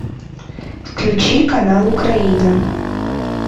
включи канал украина